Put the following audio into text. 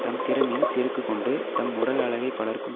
தம் திறமையில் செருக்கு கொண்டு தம் உடல் அழகைப் பலருக்கும்